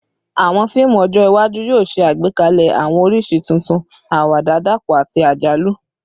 Awọn fiimu ọjọ iwaju yoo ṣe agbekalẹ awọn oriṣi tuntun, awada dapọ ati ajalu